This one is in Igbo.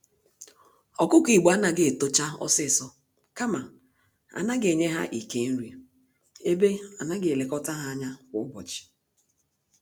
Ọkụkọ Igbo anaghị etocha ọsịsọ, kama anaghị enye ha Ike nri, ebe anaghị elekọta ha ányá kwa ụbọchị.